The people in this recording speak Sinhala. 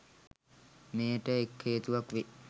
මෙයට එක් හේතුවක් වේ.